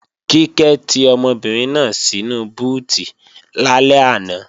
Kíkẹ́ ti ọmọbìnrin náà sínu búùtì lálẹ́ àná